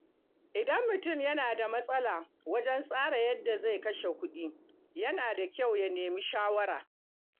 Idan mutum yana da matsala wajen tsara yadda zai kashe kuɗi, yana da kyau ya nemi shawara.